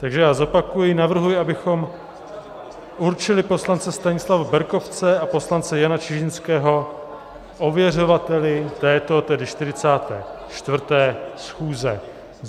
Takže já zopakuji, navrhuji, abychom určili poslance Stanislava Berkovce a poslance Jana Čižinského ověřovateli této, tedy 44. schůze.